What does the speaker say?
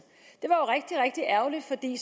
det